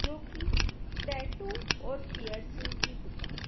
जो की टैटू और पियर्सिंग की दुकान--